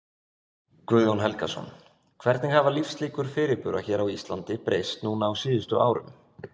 Guðjón Helgason: Hvernig hafa lífslíkur fyrirbura hér á Íslandi breyst núna á síðustu árum?